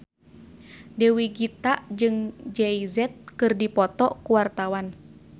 Dewi Gita jeung Jay Z keur dipoto ku wartawan